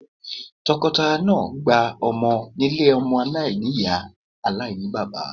Tọkọtaya náà gba ọmọ nílé ọmọ aláìní-Ìyá aláìní-bàbá.